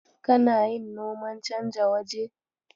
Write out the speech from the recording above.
Kana yin noman canja waje?